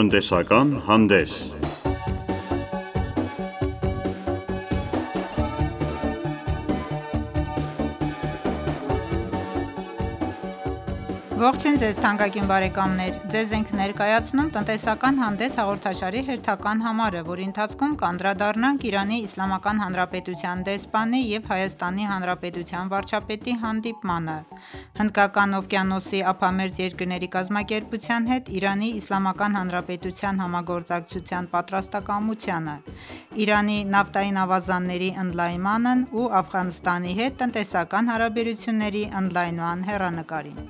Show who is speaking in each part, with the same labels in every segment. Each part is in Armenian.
Speaker 1: Տնտեսական հանդես Ողջույն թանկագին բարեկամներ: Ձեզ ենք ներկայացնում «Տնտեսական հանդես» հաղորդաշարի հերթական համարը, որի ընթացքում կանդրադառնանք ԻԻՀ դեսպանի և ՀՀ վարչապետի հանդիպմանը, Հնդկական օվկիանոսի ափամերձ երկրների կազմակերպության հետ ԻԻՀ-ի համագործակցության պատրաստակամությանը, Իրանի նավթային ավազանների ընդլայնմանն ու Աֆղանստանի հետ տնտեսական հարաբերությունների ընդլայնման հեռանկարին: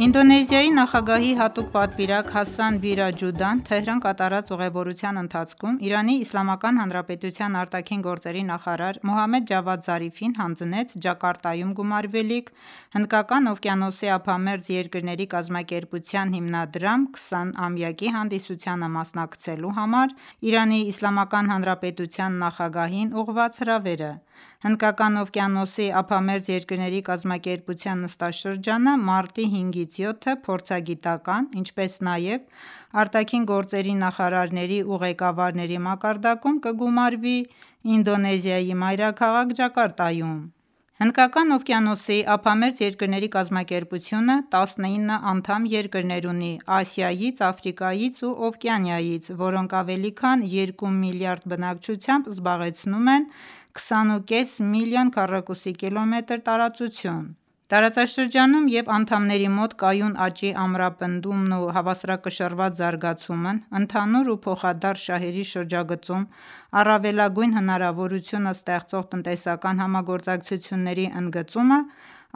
Speaker 1: Ինդոնեզիայի նախագահի հատուկ պատվիրակ Հասան Վիրա Ջուդան Թեհրան կատարած ուղևորության ընթացքում ԻԻՀ ԱԳ նախարար Մոհամմեդ Ջավադ Զարիֆին հանձնեց Ջակարտայում գումարվելիք Հնդկական օվկիանոսի ափամերձ երկրների կազմակերպության հիմնադրման 20-ամյակի հանդիսությանը մասնակցելու համար ԻԻՀ նախագահին ուղղված հրավերը: Հնդկական օվկիանոսի ափամերձ երկրների միության (IORA) նստաշրջանը մարտի 5-ից 7-ը փորձագիտական, ինչպես նաև ԱԳ նախարարների ու ղեկավարների մակարդակում կգումարվի Ինդոնեզիայի մայրաքաղաք՝ Ջակարտայում: Հնդկական օվկիանոսի ափամերձ երկրների կազմակերպությունը 19 անդամ երկրներ ունի Ասիայից, Աֆրիկայից ու Օվկիանիայից, որոնք ավելի քան երկու միլիարդ բնակչությամբ զբաղեցնում են 20.5 միլիոն քկմ տարածություն: Տարածաշրջանում ու անդամների մոտ կայուն աճի ամրապնդումն ու հավասարակշռված զարգացումը, ընդհանուր ու փոխադարձ շահերի շրջագծում առավելագույն հնարավորությունը ստեղծող տնտեսական համագործակցությունների ընդգծումը,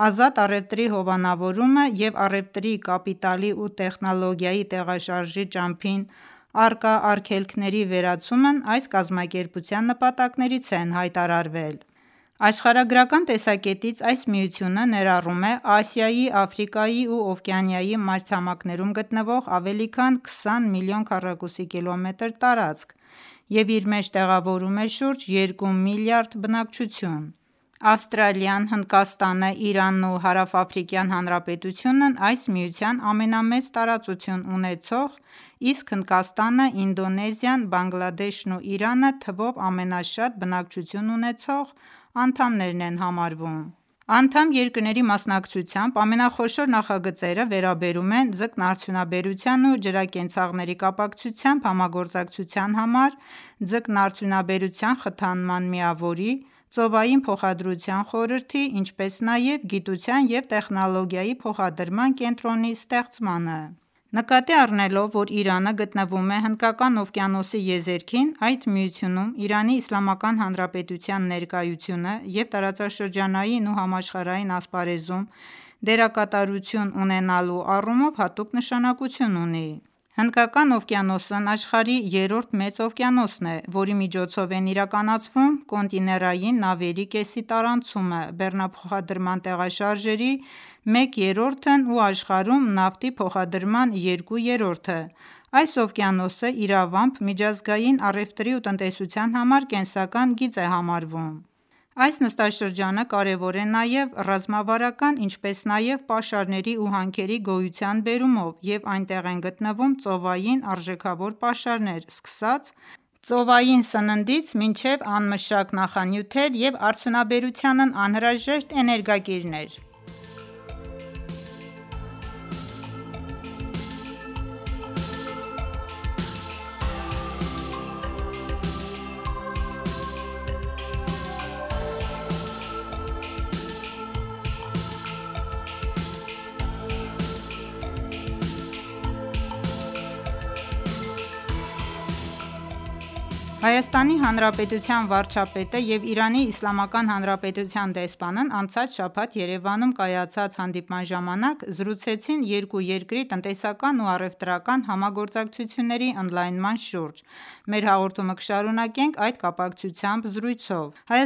Speaker 1: ազատ առևտրի հովանավորումը և առևտրի, կապիտալի ու տեխնոլոգիայի տեղաշարժի ճամփին առկա արգելքների վերացումն այս կազմակերպության նպատակներից են հայտարարվել: Աշխարհագրական տեսակետից այս միությունը ներառում է Ասիայի, Աֆրիկայի ու Օվկիանիայի մայրցամաքներում գտնվող ավելի քան 20 միլիոն քկմ տարածք և իր մեջ տեղավորում է շուրջ երկու միլիարդ բնակչություն: Ավստրալիան, Հնդկաստանը, Իրանն ու Հարավաֆրիկյան Հանրապետությունն այս միության ամենամեծ տարածությունն ունեցող, իսկ Հնդկաստանը, Ինդոնեզիան, Բանգլադեշն ու Իրանը թվով ամենաշատ բնակչությունն ունեցող անդամներն են համարվում: Անդամ երկրների մասնակցությամբ ամենախոշոր նախագծերը վերաբերում են ձկնարդյունաբերության ու ջրակենցաղների կապակցությամբ համագործակցության համար ձկնարդյունաբերության խթանման միավորի, ծովային փոխադրության խորհրդի, ինչպես նաև գիտության և տեխնոլոգիայի փոխադրման կենտրոնի ստեղծմանը: Նկատի առնելով, որ Իրանը գտնվում է Հնդկական օվկիանոսի եզերքին այդ միությունում ԻԻՀ-ի ներկայությունը և տարածաշրջանային ու համաշխարհային ասպարեզում դերակատարություն ունենալու առումով հատուկ նշանակություն ունի: Հնդկական օվկիանոսն աշխարհի երրորդ մեծ օվկիանոսն է, որի միջոցով են իրականացվում կոնտիներային նավերի կեսի տարանցումը, բեռնափոխադրման տեղաշարժերի մեկ երրորդն ու աշխարհում նավթի փոխադրման երկու երրորդը: Այս օվկիանոսը իրավամբ միջազգային առևտրի ու տնտեսության համար կենսական գիծ է համարվում: Այս տարածաշրջանը կարևոր է նաև ռազմավարական, ինչպես նաև պաշարների ու հանքերի գոյության բերումով և այդտեղ են գտնվում ծովային արժեքավոր պաշարներ՝ սկսած ծովային սննդից մինչև անմշակ նախանյութեր և արդյունաբերությանն անհրաժեշտ էներգակիրներ: ՀՀ վարչապետն ու ԻԻՀ դեսպանն անցած շաբաթ Երևանում կայացած հանդիպման ժամանակ զրուցեցին երկու երկրի տնտեսական ու առևտրական համագործակցությունների ընդլայնման շուրջ: Մեր հաղորդումը կշարունակենք այդ կապակցությամբ զրույցով: ՀՀ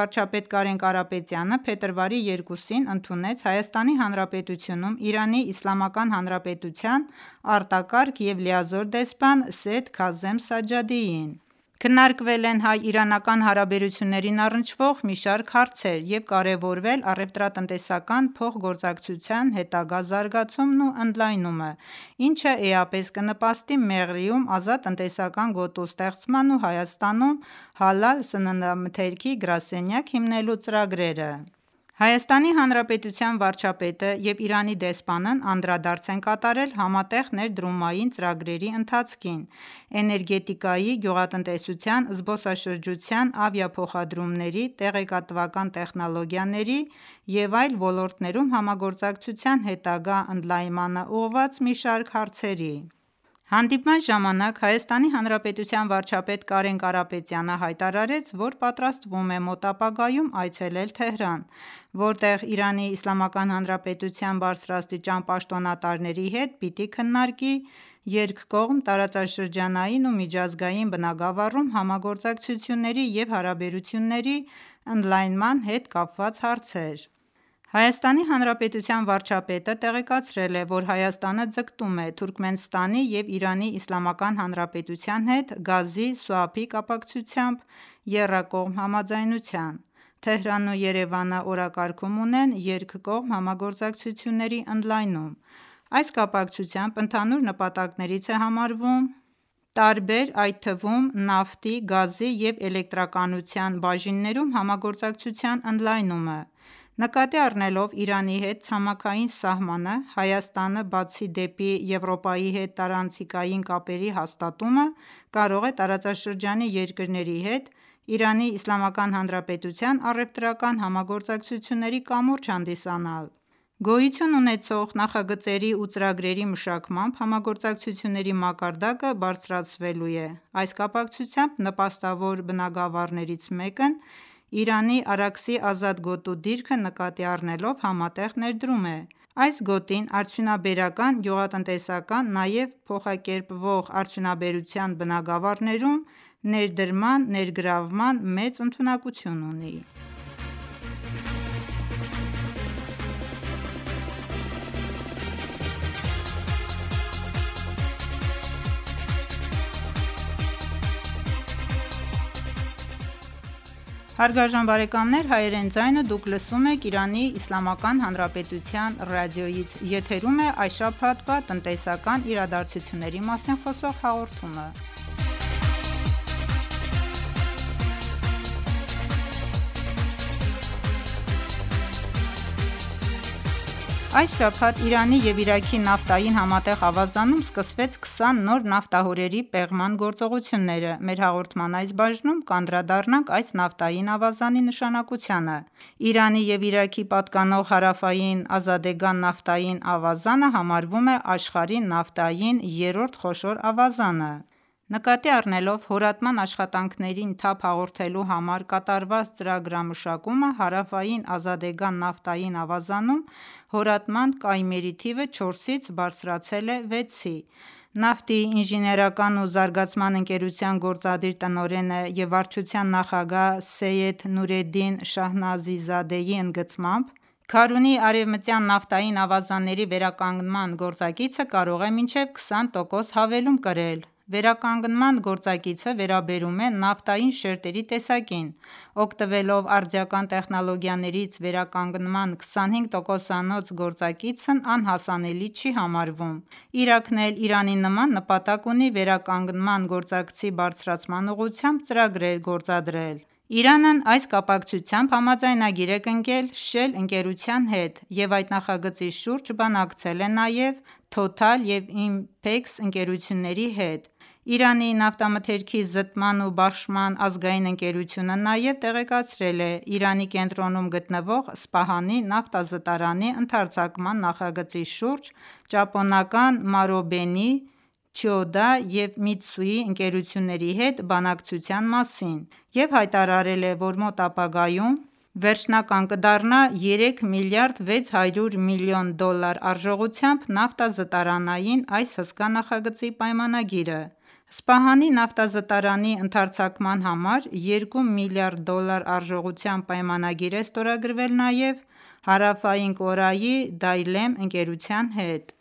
Speaker 1: վարչապետ Կարեն Կարապետյանը փետրվարի 2-ին ընդունեց Հայաստանի Հանրապետությունում Իրանի Իսլամական Հանրապետության արտակարգ և լիազոր դեսպան Սեյեդ Քազեմ Սաջջադիին: Քննարկվել են հայ-իրանական հարաբերություններին առնչվող մի շարք հարցեր և կարևորվել առևտրատնտեսական փոխգործակցության հետագա զարգացումն ու ընդլայնումը, ինչը էապես կնպաստի Մեղրիում ազատ տնտեսական գոտու ստեղծման ու Հայաստանում «հալալ» սննդամթերքի գրասենյակ հիմնելու ծրագրերը: ՀՀ վարչապետը և Իրանի դեսպանն անդրադարձ են կատարել համատեղ ներդրումային ծրագրերի ընթացքին, էներգետիկայի, գյուղատնտեսության, զբոսաշրջության, ավիափոխադրումների, տեղեկատվական տեխնոլոգիաների և այլ ոլորտներում համագործակցության հետագա ընդլայնմանն ուղղված մի շարք հարցերի: Հանդիպման ժամանակ ՀՀ վարչապետ Կարեն Կարապետյանը հայտարարեց, որ պատրաստվում է մոտ ապագայում այցելել Թեհրան, որտեղ ԻԻՀ-ի բարձրաստիճան պաշտոնատարների հետ պիտի քննարկի երկկողմ, տարածաշրջանային ու միջազգային բնագավառում համագործակցությունների ու հարաբերությունների ընդլայնման հետ կապված հարցեր: ՀՀ վարչապետը տեղեկացրել է, որ Հայաստանը ձգտում է Թուրքմենստանի ու ԻԻՀ-ի հետ գազի սուափի կապակցությամբ եռակողմ համաձայնության: Թեհրանն ու Երևանը օրակարգում ունեն երկկողմ համագործակցությունների ընդլայնումը: Այս կապակցությամբ ընդհանուր նպատակներից է համարվում տարբեր, այդ թվում նավթի, գազի ու էլեկտրականության բաժիններում համագործակցության ընդլայնումը: Նկատի առնելով Իրանի հետ ցամաքային սահմանը, Հայաստանը Եվրոպայի հետ տարանցիկ կապեր հաստատելուց բացի, կարող է տարածաշրջանի երկրների հետ ԻԻՀ-ի առևտրական համագործակցությունների կամուրջ հանդիսանալ: Գոյություն ունեցող նախագծերի ու ծրագրերի մշակմամբ համագործակցությունների մակարդակը բարձրացվելու է: Այս կապակցությամբ նպաստավոր բնագավառներից մեկն Իրանի Արաքսի ազատ գոտու դիրքը նկատի առնելով համատեղ ներդրումն է: Այս գոտին արդյունաբերական, գյուղատնտեսական, նաև փոխակերպվող արդյունաբերության բնագավառներում ներդրման ներգրավման մեծ հնարավորություն ունի: Այս շաբաթ Իրանի ու Իրաքի նավթային համատեղ ավազանում սկսվեցից 20 նոր նավթահորերի պեղման գործողությունները: Մեր հաղորդման այս բաժնում կանդրադառնանք այս նավթային ավազանի նշանակությանը: Իրանի ու Իրաքի պատկանող Հարավային Ազադեգան նավթային ավազանը համարվում է աշխարհի նավթային երրորդ խոշոր ավազանը: Նկատի առնելով հորատման աշխատանքներին թափ հաղորդելու համար կատարված ծրագրամշակումը Հարավային Ազադեգան նավթային ավազանում հորատման կայմերի թիվը չորսից բարձրացել է վեցի: Նավթի ինժեներական ու զարգացման ընկերության գործադիր տնօրեն և վարչության նախագահ Սեյեդ Նուրեդդին Շահնազիզադեի ընդգծմամբ Քարունի արևմտյան նավթային ավազանների վերականգնման գործակիցը կարող է մինչև 25 տոկոս հավելում կրել: Վերականգնման գործակիցը վերաբերում է նավթային շերտերի տեսակին: Օգտվելով արդիական տեխնոլոգիաներից վերականգնման 25 տոկոսանոց գործակիցն անհասանելի չի համարվում: Իրաքն էլ Իրանի նման նպատակ ունի վերականգման գործակցի բարձրացման ուղղությամբ ծրագրեր իրականացնել: Իրանն այս կապակցությամբ համաձայնագիր է կնքել «Շել» ընկերության հետ և այդ նախագծի շուրջ բանակցել է նաև «Թոթալ» և «Ինփեքս» ընկերությունների հետ: Իրանի նավթամթերքի զտման ու բաշխման ազգային ընկերությունը նաև տեղեկացրել է Իրանի կենտրոնում գտնվող Սպահանի նավթազտարանի ընդարձակման նախագծի շուրջ ճապոնական «Մարոբենի», «Չիոդա» և «Միթսուի» ընկերությունների հետ բանակցության մասին և հայտարարել է, որ մոտ ապագայում վերջնական կդառնա 3 միլիարդ 600 միլիոն դոլար արժողությամբ նավթազտարանային այս հսկա նախագծի պայմանագիրը: Սպահանի նավթազտարանի ընդարձակման համար երկու միլիարդ դոլար արժողությամբ պայմանագիր է ստորագրվել նաև Հարավային Կորեայի «Դայլեմ» ընկերության հետ: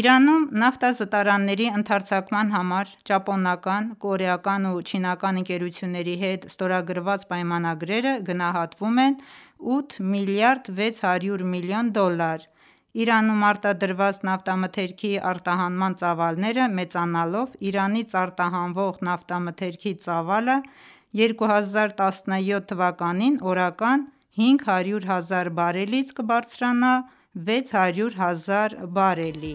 Speaker 1: Իրանում նավթազտարանների ընդարձակման համար ճապոնական, կորեական ու չինական ընկերությունների հետ ստորագրված պայմանագրերը գնահատվում են 8 միլիարդ 600 միլիոն դոլար: Իրանում արտադրված նավթամթերքի արտահանման ծավալները մեծանալով Իրանից արտահանվող նավթամթերքի ծավալը 2017 թվականին օրական 500 հազար բարելից կբարձրանա 600 հազար բարելի: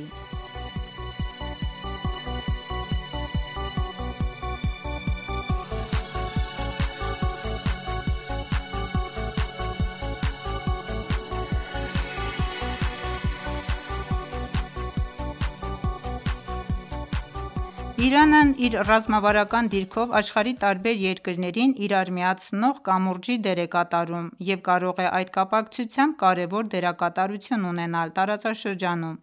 Speaker 1: Իրանն իր ռազմավարական դիրքով աշխարհի տարբեր երկրներին իրար միացնող կամուրջի դեր է կատարում և կարող է այդ կապակցությամբ կարևոր դերակատարություն ունենալ տարածաշրջանում: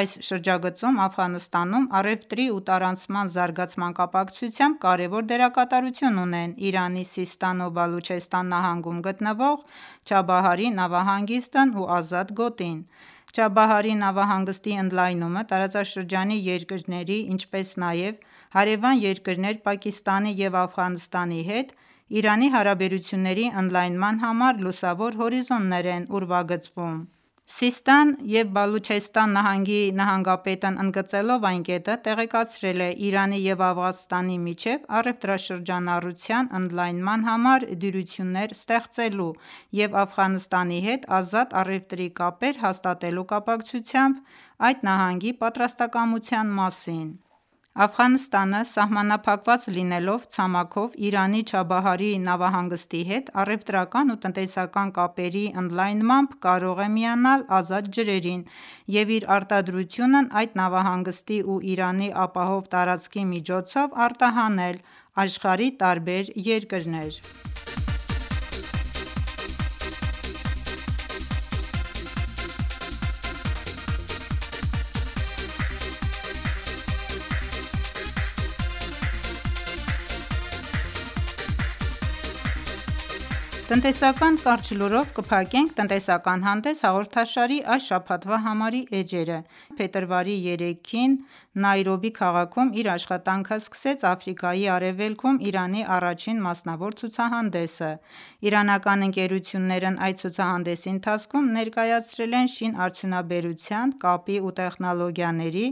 Speaker 1: Այս շրջագծում Աֆղանստանում առևտրի ու տարանցման զարգացման կապակցությամբ կարևոր դերակատարություն ունեն Իրանի Սիսթան ու Բալուչեստան նահանգում գտնվող Չաբահարի նավահանգիստն ու ազատ գոտին: Չաբահարի նավահանգստի ընդլայնումը տարածաշրջանի երկրների, ինչպես նաև հարևան երկրներ Պակիստանի ու Աֆղանստանի հետ Իրանի հարաբերությունների ընդլայնման համար լուսավոր հորիզոններ են ուրվագծում: Սիսթան ու Բալուչեստան նահանգի նահանգապետն ընդգծելով այդ կետը, տեղեկացրել է Իրանի ու Աֆղանստանի միջև առևտրաշրջանառության ընդլայնման համար դյուրություններ ստեղծելու և Աֆղանստանի հետ ազատ առևտրի կապեր հաստատելու կապակցությամբ այդ նահանգի պատրաստակամության մասին: Աֆղանստանը սահմանափակված լինելով ցամաքով, Իրանի Չաբահարի նավահանգստի հետ առևտրական ու տնտեսական կապերի ընդլայնմամբ կարող է միանալ ազատ ջրերին և իր արտադրությունն այդ նավահանգստի ու Իրանի ապահով տարածքի միջոցով արտահանել աշխարհի տարբեր երկրներ: Տնտեսական կարճ լուրով կփակենք «Տնտեսական հանդես» հաղորդաշարի այս շաբաթվա համարի էջերը: Իրանական 120 ընկերությունների մասնակցությամբ փետրվարի 3-ին Նայրոբի քաղաքում իր աշխատանքը սկսեց Աֆրիկայի արևելքում Իրանի առաջին մասնավոր ցուցահանդեսը: Իրանական ընկերություններն այդ ցուցահանդեսի ընթացքում ներկայացրել են շինարդյունաբերության, կապի ու տեխնոլոգիաների,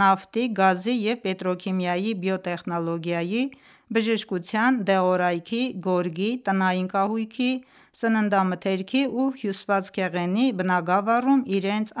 Speaker 1: նավթի, գազի ու պետրոքիմիայի, բիոտեխնոլոգիայի, բժշկության, դեղորայքի, գորգի, տնային կահույքի, սննդամթերքի ու հյուսվածքեղենի բնագավառում իրենց